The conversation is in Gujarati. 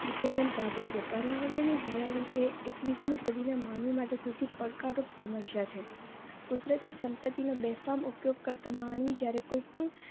કાઢ્યું છે. પર્યાવરણને જણાવી એ એકવીસ મી સદીમાં માનવી માટે સૌથી પડકારરૂપ સમસ્યા છે. કુદરતી સંપત્તિનો બેફામ ઉપયોગ કરતો માનવી જ્યારે કોઈ પણ